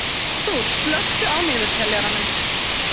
Arthúr, slökktu á niðurteljaranum.